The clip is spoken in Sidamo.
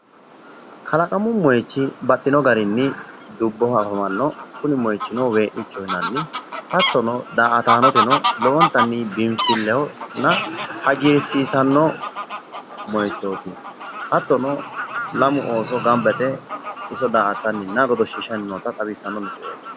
Kalaqmu moyichi baxxino garinni dubboho afamanno kuni moyichino wee'nichoho yinanni. hattono daa'ataanoteno lowontanni biinfillehonna hagiirsiisanno moyichooti. Hattono lamu ooso gamba yite iso daa'attanninna godoshshiishshanni noota xawissanno misileeti.